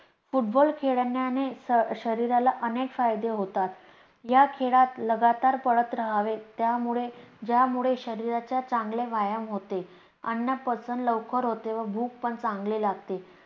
football खेळण्याने शरीराला अनेक फायदे होतात. या खेळात लगातार पडत राहावे त्यामुळे ज्यामुळे शरीराचं चांगले व्यायाम होते. अन्न पचन लवकर होते, व भूक पण चांगली लागते.